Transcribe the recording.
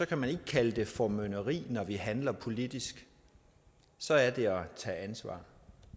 kan man ikke kalde det formynderi når vi handler politisk så er det at tage ansvar